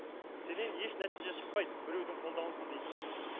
сенен еш нәтиже шықпайды біреудің қолдауынсыз дейтін